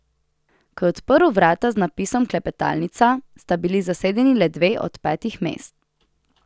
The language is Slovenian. Ko je odprl vrata z napisom Klepetalnica, sta bili zasedeni le dve od petih mest.